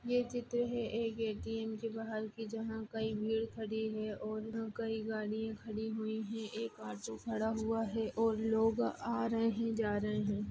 ये चित्र है एक ए .टी.एम के बाहर की जहाँ कई भीड़ खड़ी हुई है और कई गाड़ियां खड़ी हुई है एक ऑटो खड़ा हुआ है और लोग आ रहे है जा रहे है।